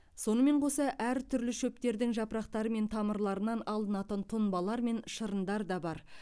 сонымен қоса әртүрлі шөптердің жапырақтары мен тамырларынан алынатын тұнбалар мен шырындар да бар